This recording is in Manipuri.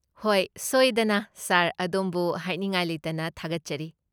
ꯍꯣꯏ, ꯁꯣꯏꯗꯅ, ꯁꯥꯔ, ꯑꯗꯣꯝꯕꯨ ꯍꯥꯏꯅꯤꯡꯉꯥꯏ ꯂꯩꯇꯅ ꯊꯥꯒꯠꯆꯔꯤ꯫